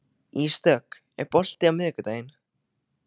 Ísdögg, er bolti á miðvikudaginn?